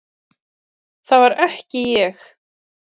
Þá var það ekki ég!